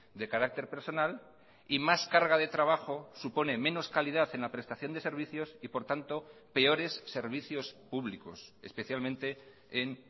de carácter personal y más carga de trabajo supone menos calidad en la prestación de servicios y por tanto peores servicios públicos especialmente en